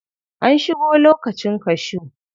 An shigo lokacin cashew.